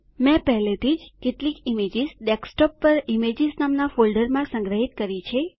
મેં પહેલાથી જ કેટલીક ઈમેજીશ ડેસ્કટોપ પર ઇમેજીસ નામના ફોલ્ડરમાં સંગ્રહીત કરી છે